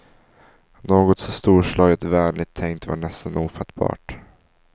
Något så storslaget vänligt tänkt var nästan ofattbart.